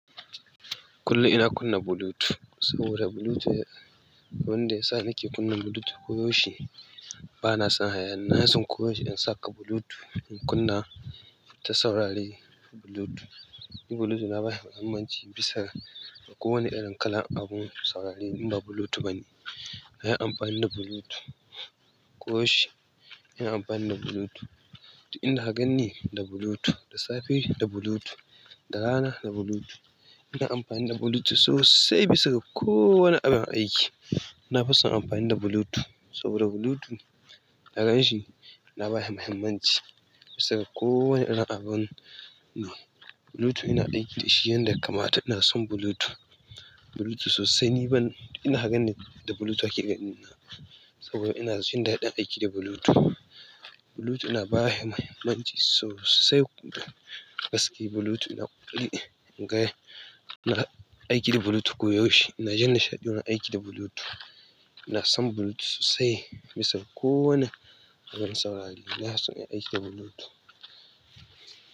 Kullum ina kunna Bluetooth, wani abu ne wanda yasa nake kunna Bluetooth bana son hayaniya na san koyaushe in saka Bluetooth, in kunna ta saurari Bluetooth. Ni Bluetooth na ba shi muhimmanci bisa ga kowane irin kalan abun saurari in ba Bluetooth ba ne. Na yi amfani da Bluetooth ko yaushe, ina amfani da Bluetooth, ina ganin da Bluetooth, da safe da Bluetooth, da rana da Bluetooth. Ina amfani da Bluetooth sosai bisa ga kowane abin aiki. Na fi son amfani da Bluetooth saboda Bluetooth daga shi na ba shi muhimmanci bisa ga kowane irin abun ne. Bluetooth ina ɗinki da shi yanda kamata, ina son Bluetooth. Bluetooth sosai ni ban-- ina ganin da Bluetooth ake ganina saboda ina jin daɗin aiki da Bluetooth. Bluetooth na ba shi muhimmanci sosai gaskiya. Bluetooth na ƙware, na aiki da Bluetooth koyaushe, ina jin nishaɗi ina aiki da Bluetooth. Ina son Bluetooth sosai bisa ga kowane abun saurari. Ina son in aiki da Bluetooth.